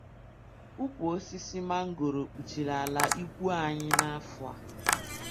Ukwu osisi mangoro kpuchiri ala ikwu anyị n'afọ a